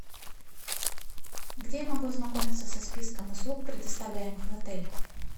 где я могу ознакомиться со списком услуг предоставляемых в отеле